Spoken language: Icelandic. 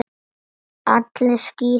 Allir á skíðum nema þú.